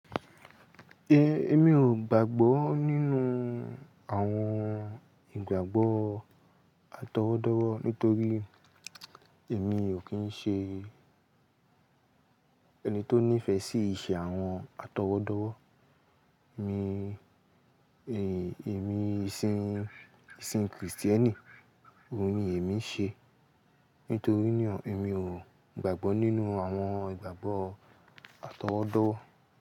Èmi ò gbàgbọ́ nínú àwọn ìgbàgbọ́ atọwọ́dọ́wọ́ nítorí èmi ò kí ń ṣe ẹni tó nífẹ̀ẹ́ sí ìṣe àwọn atọwọ́dọ́wọ́. Mi, e-èmi ìsìn-ìsìn krìstẹ́nì òun ni èmi ń ṣe. Nítorí náà, èmi ò gbàgbọ́ nínú àwọn ìgbàgbọ́ atọwọ́dọ́wọ́.